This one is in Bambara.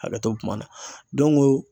Hakɛto bɛ kuma na